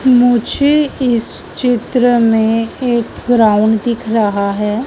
मुझे इस चित्र में एक ग्राउंड दिख रहा है।